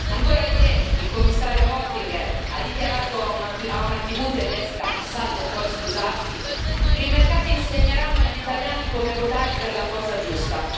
Ancora ieri il Commissario Oettinger ha dichiarato a una TV tedesca, salvo poi scusarsi, che i mercati insegneranno agli italiani come votare per la cosa giusta.